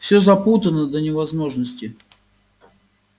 всё запутано до невозможности